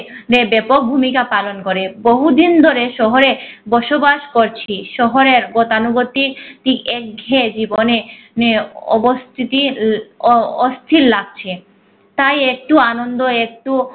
নে ব্যাপক ভূমিকা পালন করে। বহুদিন ধরে শহরে বসবাস করছি। শহরে গতানুগতিক তিক এক ঘেঁয়ে জীবনে নে অস্তিতির এর অস্থির লাগছে তাই একটু আন্দন একটু